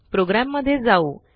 programme मध्ये जाऊ